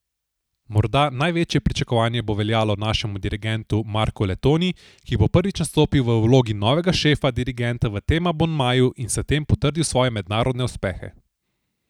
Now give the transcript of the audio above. Morda največje pričakovanje bo veljalo našemu dirigentu Marku Letonji, ki bo prvič nastopil v vlogi novega šefa dirigenta v tem abonmaju in s tem potrdil svoje mednarodne uspehe.